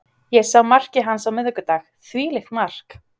Ég sá markið hans á miðvikudag, þvílíkt mark.